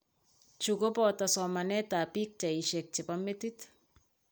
Chu koboto somanetap bichaaisiek che po metit